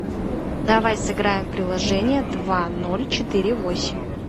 давай сыграем в приложение два ноль четыре восемь